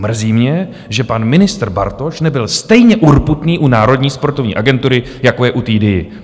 Mrzí mě, že pan ministr Bartoš nebyl stejně urputný u Národní sportovní agentury, jako je u DIA.